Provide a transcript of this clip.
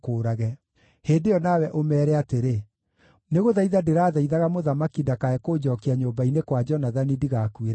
hĩndĩ ĩyo nawe ũmeere atĩrĩ, ‘Nĩgũthaitha ndĩrathaithaga mũthamaki ndakae kũnjookia nyũmba-inĩ kwa Jonathani, ndigakuĩre kuo.’ ”